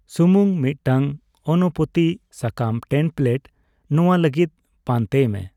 ᱥᱩᱢᱩᱝ ᱢᱤᱫᱴᱟᱝ 'ᱚᱱᱟᱯᱚᱛᱤ ᱥᱟᱠᱟᱢ ᱴᱮᱢᱯᱞᱮᱴ' ᱱᱚᱣᱟ ᱞᱟᱹᱜᱤᱫ ᱯᱟᱱᱛᱮᱭ ᱢᱮ ᱾